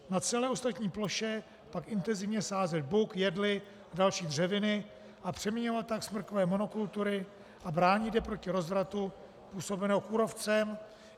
Na celé ostatní ploše pak intenzivně sázet buk, jedli a další dřeviny a přeměňovat tak smrkové monokultury a bránit je proti rozvratu způsobenému kůrovcem.